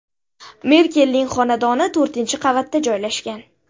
Merkelning xonadoni to‘rtinchi qavatda joylashgan.